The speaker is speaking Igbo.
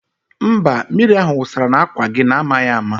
Mba, mmiri ahụ wụsara n'àkwà gị n'amaghị ama